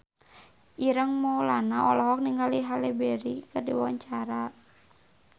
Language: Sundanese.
Ireng Maulana olohok ningali Halle Berry keur diwawancara